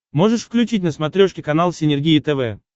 можешь включить на смотрешке канал синергия тв